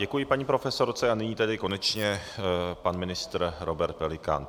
Děkuji paní profesorce a nyní tedy konečně pan ministr Robert Pelikán.